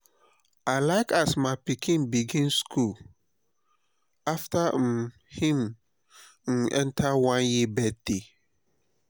i like as my pikin begin skool afta um him um one year birthday.